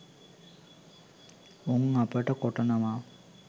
උන් අපට කොටනවා.